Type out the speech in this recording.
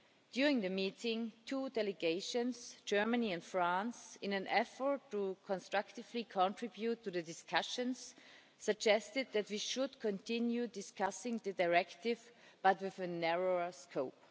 During the meeting, two delegations Germany and France in an effort to constructively contribute to the discussions, suggested that we should continue discussing the directive, but with a narrower scope.